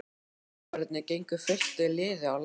Tollverðirnir gengu fylktu liði á land.